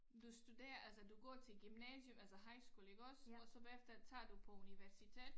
Du studerer altså du går til gymnasium altså high school iggås og så bagefter tager du på universitet